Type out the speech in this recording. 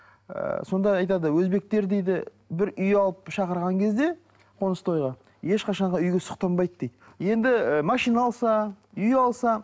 ы сонда айтады өзбектер дейді бір үй алып шақырған кезде қоныс тойға ешқашан да үйге сұқтанбайды дейді енді ы машина алса үй алса